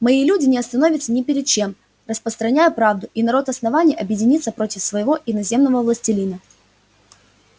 мои люди не остановятся ни перед чем распространяя правду и народ основания объединится против своего иноземного властелина